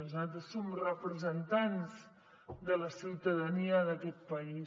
nosaltres som representants de la ciutadania d’aquest país